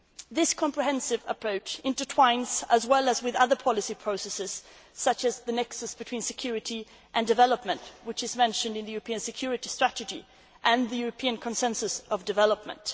merits. This comprehensive approach fits in with other policy processes such as the nexus between security and development, which is mentioned in both the European Security strategy and the European Consensus on Development.